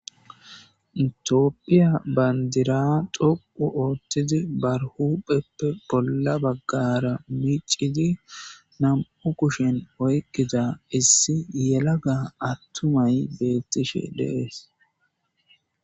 Itiopphiya bandira xoqu ooththidi barhupheppe bolla baggara micidi nam'u kushen oykkida issi yelaga attumay beettishe deees.